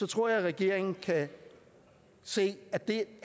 tror jeg regeringen kan se at det